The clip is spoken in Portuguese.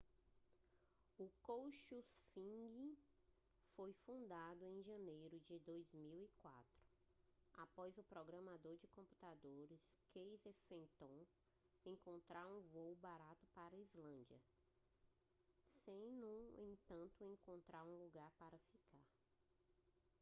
o couchsurfing foi fundado em janeiro de 2004 após o programador de computadores casey fenton encontrar um voo barato para a islândia sem no entanto encontrar um lugar para ficar